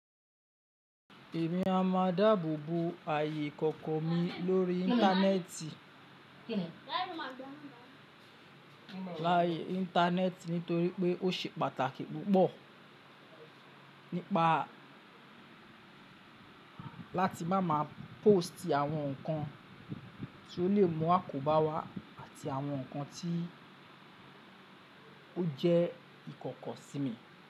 Èmi a máa dáàbò bo ààyè ìkọ̀kọ̀ mi lórí Íńtánẹ́ẹ̀tì, láàyè Íńtánẹ́ẹ̀tì nítorí pé ó ṣe pàtàkì púpọ̀ nípa láti máa ma póòstì àwọn nǹkan tó lè mú àkóbá wá àti àwọn nǹkan ti o jẹ́ ìkọ̀kọ̀ sí mi.